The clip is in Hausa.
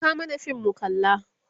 Saka mana fim mu kalla!